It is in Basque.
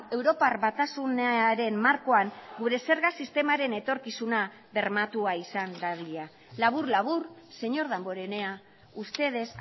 europar batasunaren markoan gure zerga sistemaren etorkizuna bermatua izan dadila labur labur señor damborenea ustedes